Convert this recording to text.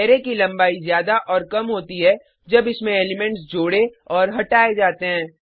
array की लंबाई ज्यादा और कम होती है जब इसमें एलिमेंट्स जोड़े और हटाए जाते हैं